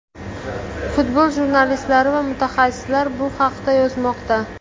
Futbol jurnalistlari va mutaxassislar bu haqda yozmoqda.